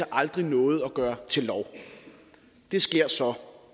aldrig nåede at gøre til lov det sker så